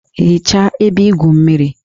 Hichaa ebe igwu mmiri!